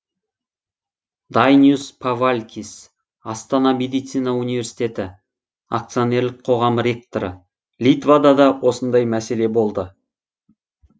дайнюс павалькис астана медицина университеті акционерлік қоғам ректоры литвада да осындай мәселе болды